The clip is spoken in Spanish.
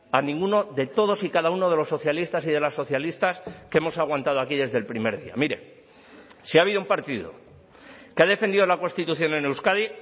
a ninguno de todos y cada uno de los socialistas y de las socialistas que hemos aguantado aquí desde el primer día mire si ha habido un partido que ha defendido la constitución en euskadi